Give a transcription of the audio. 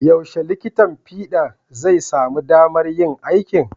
Yaushe likitan fiɗa zai samu damar yin aiki?